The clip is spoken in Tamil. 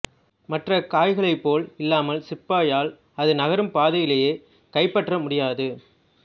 மற்றைய காய்களைப் போல் இல்லாமல் சிப்பாயால் அது நகரும் பாதையிலேயே கைப்பற்ற முடியாது